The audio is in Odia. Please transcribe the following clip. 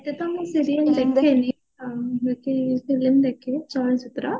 ମୁଁ serial ଦେଖେନି film ଦେଖେ